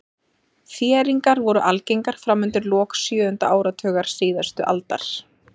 Þéringar voru algengar fram undir lok sjöunda áratugar síðustu aldar.